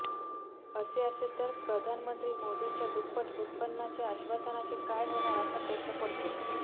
असे असेल तर प्रधानमंत्री मोदींच्या दुप्पट उत्पन्नाच्या आश्वासनाचे काय होणार असा प्रश्न पडतो